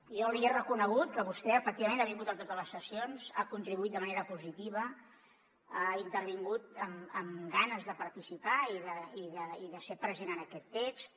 jo li he reconegut que vostè efectivament ha vingut a totes les sessions ha contribuït de manera positiva ha intervingut amb ganes de participar i de ser present en aquest text